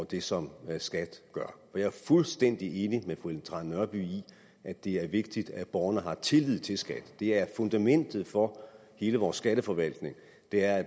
det som skat gør jeg er fuldstændig enig med fru ellen trane nørby i at det er vigtigt at borgerne har tillid til skat det er fundamentet for hele vores skatteforvaltning at